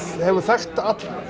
hefur þekkt